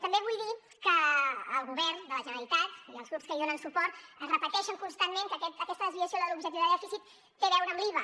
també vull dir que el govern de la generalitat i els grups que hi donen suport repeteixen constantment que aquesta desviació de l’objectiu de dèficit té a veure amb l’iva